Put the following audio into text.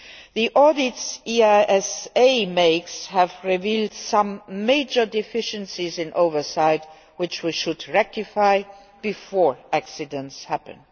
The audits which the EASA conducts have revealed some major deficiencies in oversight which we should rectify before accidents happen.